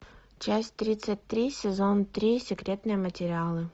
часть тридцать три сезон три секретные материалы